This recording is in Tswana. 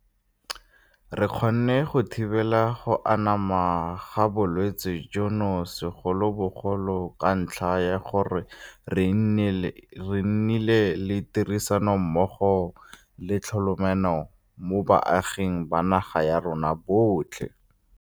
Re kgonne go thibela go anama ga bolwetse jono segolobogolo ka ntlha ya gore re nnile le tirisanommogo le tlhokomelano mo baaging ba naga ya rona botlhe.